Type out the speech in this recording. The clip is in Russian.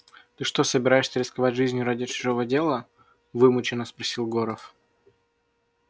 ты что собираешься рисковать жизнью ради чужого дела вымученно спросил горов